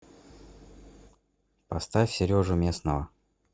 поставь сережу местного